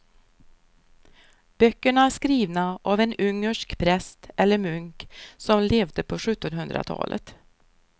Böckerna är skrivna av en ungersk präst eller munk som levde på sjuttonhundratalet.